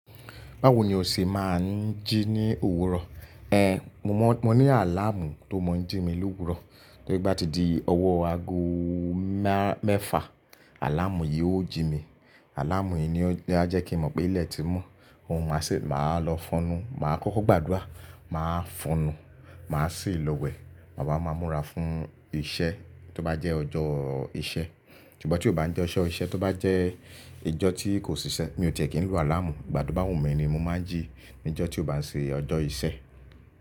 Báwo ni o ṣe máa ń jí ní òwúrọ̀? Ehn, mo mọ, mo ní àláàmú tó mọ ń jí mi lówúrọ̀. Bí ó bá ti di ọwọ́ aago má-mẹ́fà, àláàmú yìí ó jí mi. Àláàmú yìí ni ó, á jẹ́ kí n mọ̀ pé ilẹ̀ ti mọ́, ma ṣì, màá lọ fọnu. Màá kọ́kọ́ gbàdúrà, màá fọ̀nù, màá sì lọ wẹ̀. Mà wá máa múra fún iṣẹ́ tó bá jẹ́ ọjọ́ iṣẹ́. Ṣùgbọ́n tí ó bá ń jẹ́ ọjọ́ iṣẹ́, tó bá jẹ́ ọjọ́ tí kò sì ṣẹ, mi ò tiẹ̀ kí ń lo àláàmú. Ìgbà tó bá wù mí ni mo máa ń jí ní ọjọ́ tí ó bá ń ṣe ọjọ́ iṣẹ́.